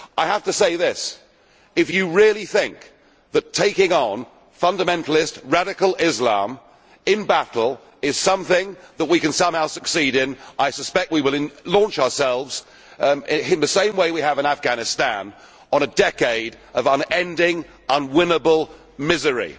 I have to say this if you really think that taking on fundamentalist radical Islam in battle is something that we can somehow succeed in, I suspect we will launch ourselves in the same way we have in Afghanistan on a decade of unending, unwinnable misery.